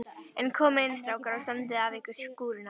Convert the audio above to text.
En komiði inn strákar og standið af ykkur skúrina.